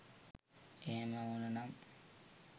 එහෙම ඕන නම්